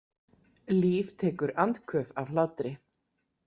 Líf tekur andköf af hlátri.